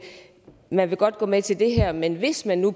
man vil godt gå med til det her men hvis det nu